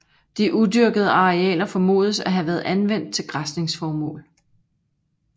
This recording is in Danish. De udyrkede arealer formodes at have været anvendt til græsningsformål